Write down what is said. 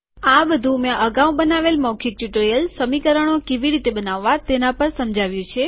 આ બધું મેં અગાઉ બનાવેલ મૌખીક ટ્યુટોરીયલ સમીકરણો કેવી રીતે બનાવવા તેના પર સમજાવ્યું છે